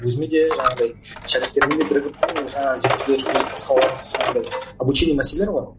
өзіме де жаңағыдай шәкірттеріме де бірігіп ііі жаңа зерттеулер жүргізіп жаңағыдай обучение мәселер ғой